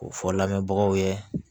K'o fɔ lamɛnbagaw ye